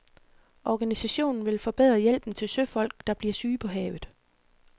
Organisationen vil forbedre hjælpen til søfolk, der bliver syge på havet.